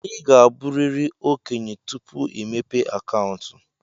Ị ga-abụrịrị okenye tupu ịmepe akaụntụ.